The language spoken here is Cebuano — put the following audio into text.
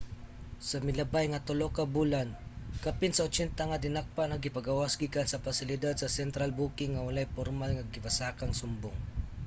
sa milabay nga 3 ka bulan kapin sa 80 nga dinakpan ang gipagawas gikan sa pasilidad sa central booking nga walay pormal nga gipasakang sumbong